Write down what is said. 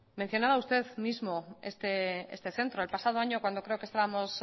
mencionaba usted mismo este centro el pasado año cuando creo que estábamos